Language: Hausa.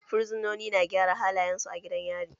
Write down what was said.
Fursunoni na gyara halayensu a gidan yari.